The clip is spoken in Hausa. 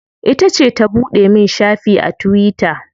Ita ce ta buɗe min shafi a tuwita.